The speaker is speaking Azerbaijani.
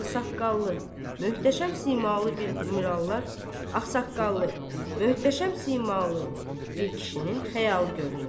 Ağsaqqallı, möhtəşəm simalı bir mirallar, ağsaqqallı, möhtəşəm simalı bir kişinin xəyalı görünür.